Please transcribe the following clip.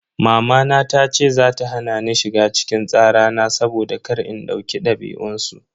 Mamana tace za ta hana ni shiga cikin tsara na saboda kar in dauki dabi'un su.